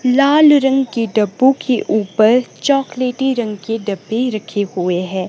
लाल रंग के डब्बों के ऊपर चॉकलेटी रंग के डब्बे रखे हुए है।